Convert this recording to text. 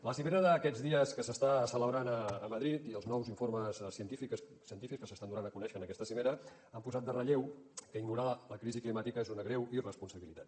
la cimera d’aquests dies que s’està celebrant a madrid i els nous informes científics que s’estan donant a conèixer en aquesta cimera han posat en relleu que ignorar la crisi climàtica és una greu irresponsabilitat